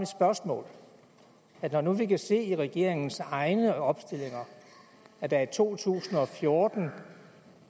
spørgsmål når nu vi kan se i regeringens egne opstillinger at der i to tusind og fjorten